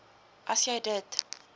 as jy dit